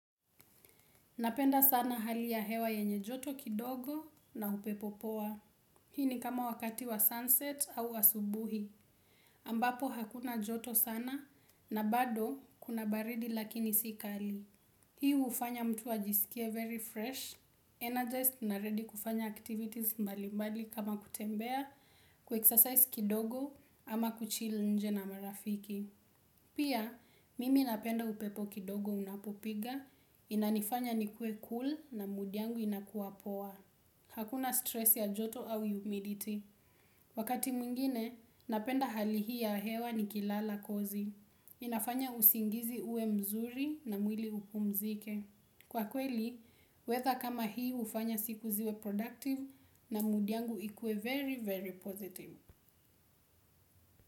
Napenda sana hali ya hewa yenye joto kidogo na upepo poa. Hii ni kama wakati wa sunset au wa asubuhi. Ambapo hakuna joto sana na bado kuna baridi lakini si kali. Hii hufanya mtu ajisikie very fresh, energized na ready kufanya activities mbali mbali kama kutembea, ku excercise kidogo ama kuchili nje na marafiki. Pia mimi napenda upepo kidogo unapopiga inanifanya nikuwe cool and mwili wangu inakuwa poa. Hakuna stress ya joto au humidity. Wakati mwingine, napenda hali hii ya hewa nikilala kozi. Inafanya usingizi uwe mzuri na mwili upumzike. Kwa kweli, weather kama hii hufanya siku ziwe productive na mood yangu ikuwe very, very positive.